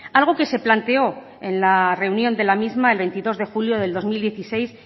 algo que se planteó en la reunión de la misma el veintidós de julio de dos mil dieciséis